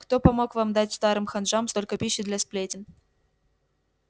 кто помог вам дать старым ханжам столько пищи для сплетен